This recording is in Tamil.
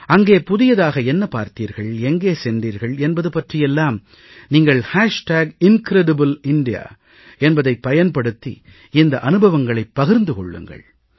அங்கே புதியதாக என்ன பார்த்தீர்கள் எங்கே சென்றீர்கள் என்பது பற்றியெல்லாம் நீங்கள் incredible இந்தியா என்பதைப் பயன்படுத்தி இந்த அனுபவங்களை பகிர்ந்து கொள்ளுங்கள்